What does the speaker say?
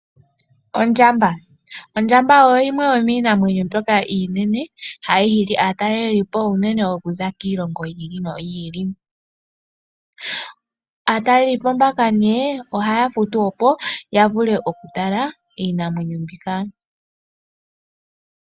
Ondjamba Ondjamba oyo yimwe yomiinamwenyo mbyoka iinene hayi hili ataalelipo unene okuza kiilongo yi ili noyi ili. Aatalelipo mbaka ohaya futu opo ya vule okutala iinamwenyo mbika.